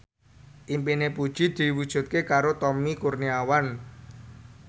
impine Puji diwujudke karo Tommy Kurniawan